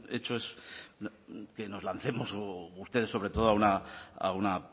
hecho es que nos lancemos o ustedes sobre todo a una